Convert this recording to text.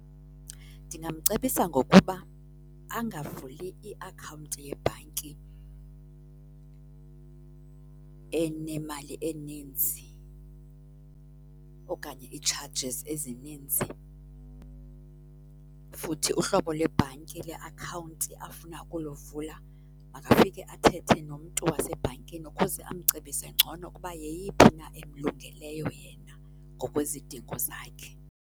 Ndingamcebisa ngokuba angavuli iakhawunti yebhanki enemali eninzi okanye ii-charges ezininzi. Futhi uhlobo lwebhanki leakhawunti afuna ukuluvula makafike athethe nomntu wasebhankini ukuze amcebise ngcono ukuba yeyiphi na emlungeleyo yena ngokwezidingo zakhe.